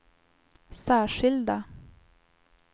särskilda